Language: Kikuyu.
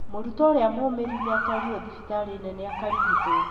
Mũrutwo ũrĩa mũmĩru nĩ atwarirwo thibitarĩ mũnene akarigitwo